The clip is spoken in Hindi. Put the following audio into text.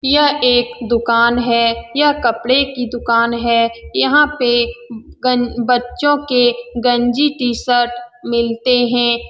यह एक दुकान है यह कपड़े की दुकान है यहाँ पे बच्चे के गंजी टी-शट मिलते हैं ।